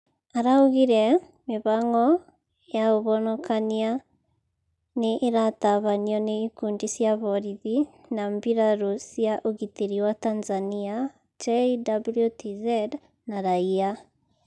Araugire mĩhang'o ya ũhonokania nĩ ĩratabanio nĩ ikundi cia borĩthĩ na mbirarũ cia ũgitĩri wa Tanzania (JWTZ) na raia